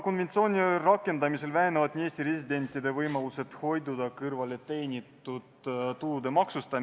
Kui seda tagasilükkamist ei toimu, siis me teeme ettepaneku meresõiduohutuse seaduse eelnõu 47 teine lugemine katkestada.